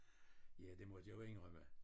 Ja det måtte jeg jo inddrømme